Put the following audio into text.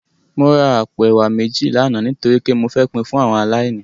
Mó rá àpó èwá méji làná nitóri pé mó fè pin fún áwòn àláìní